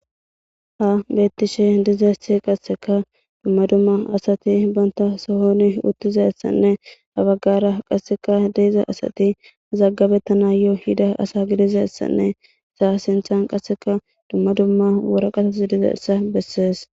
Ha betishe dizayis qaseka duma duma asati banitasihon utizayisanee ha bagara qa mazagabetanawu yida asa gidizayisanee iza sinthan qasika duma duma wariqati dizayisa beses